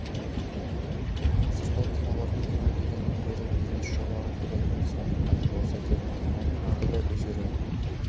қазіргі кинолардың кино дегеннен гөрі бизнес жобаға келетіні сондықтан болса керек киноның аты да өзгерді